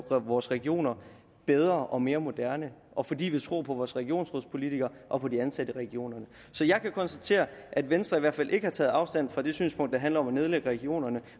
drive vores regioner bedre og mere moderne og fordi vi tror på vores regionsrådspolitikerne og på de ansatte i regionerne så jeg kan konstatere at venstre i hvert fald ikke har taget afstand fra det synspunkt der handler om at nedlægge regionerne